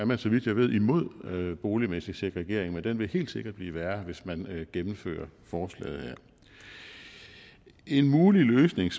man så vidt jeg ved imod boligmæssig segregering men den vil helt sikkert blive værre hvis man gennemfører forslaget en mulig løsning